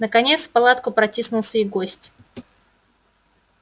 наконец в палатку протиснулся и гость